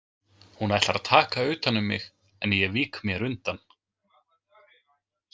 Hún ætlar að taka utan um mig en ég vík mér undan.